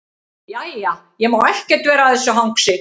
Jæja, ég má ekkert vera að þessu hangsi.